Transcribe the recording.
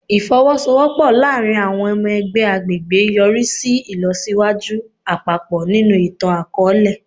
Ifowosowopo laarin awọn ọmọ ẹgbẹ agbegbe yori si ilọsiwaju apapọ ninu itan-akọọlẹ